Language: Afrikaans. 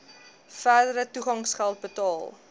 verdere toegangsgeld betaal